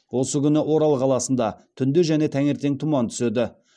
осы күні орал қаласында түнде және таңертең тұман түседі